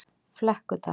Flekkudal